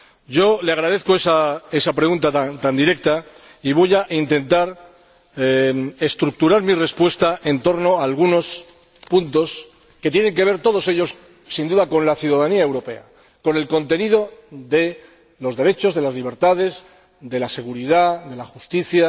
Yo le agradezco esa pregunta tan directa y voy a intentar estructurar mi respuesta en torno a algunos puntos que tienen que ver todos ellos, sin duda, con la ciudadanía europea, con el contenido de los derechos, de las libertades, de la seguridad, de la justicia